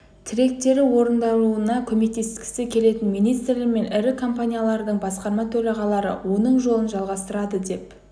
тілектері орындалуына көмектескісі келетін министрлер мен ірі компаниялардың басқарма төрағалары да оның жолын жалғастырады деп